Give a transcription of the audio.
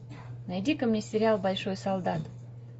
найди ка мне сериал большой солдат